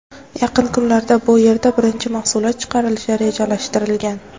Yaqin kunlarda bu yerda birinchi mahsulot chiqarilishi rejalashtirilgan.